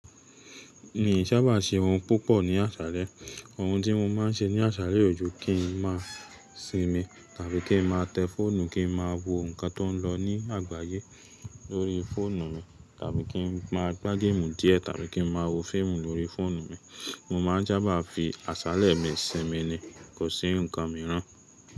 Mii sábà se ohun púpọ̀ ní àṣálẹ́. Ohun tí mo máa ń ṣe ní àṣálẹ́ o ju kin máa sinmi, tàbí kí n máa tẹ fóònù, kí n máa wo nǹkan tó ń lọ ní àgbáyé lórí fóònù mi, tàbí kí n máa gbá géèmù díẹ̀, tàbí kí n máa wo fíìmù lórí fóònù mi. Mo máa ń sábà fi àṣálẹ́ mi sinmi ni, kò sí ǹkan mìíràn.